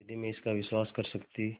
यदि मैं इसका विश्वास कर सकती